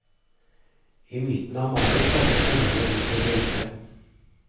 I midten av mai kommer sauene ut på beite.